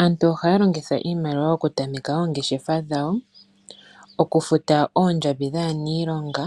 Aantu oha ya longitha iimaliwa oku tameke oongeshefa dhawo, okufuta oondjambi dhaaniilonga,